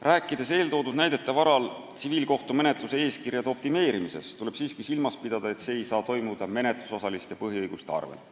Rääkides eeltoodud näidete varal tsiviilkohtumenetluse eeskirjade optimeerimisest, tuleb siiski silmas pidada, et see ei tohi toimuda menetlusosaliste põhiõiguste arvel.